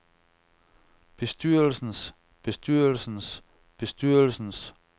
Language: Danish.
bestyrelsens bestyrelsens bestyrelsens